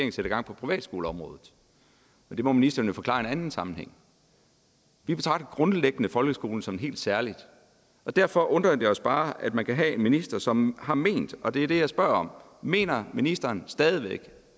gang på privatskoleområdet det må ministeren jo forklare i en anden sammenhæng vi betragter grundlæggende folkeskolen som noget helt særligt derfor undrer det os bare at man kan have en minister som har ment at og det er det jeg spørger om mener ministeren stadig væk